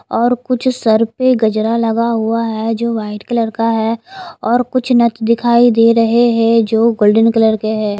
और कुछ सर पे गजरा लगा हुआ है जो वाइट कलर का है और कुछ नथ दिखाई दे रहे हैं जो गोल्डन कलर के है।